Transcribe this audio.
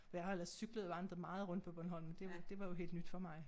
For jeg har ellers cyklet og vandret meget rundt på Bornholm det det var jo helt nyt for mig